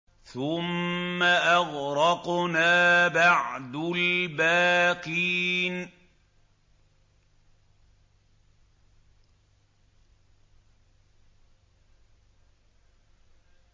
ثُمَّ أَغْرَقْنَا بَعْدُ الْبَاقِينَ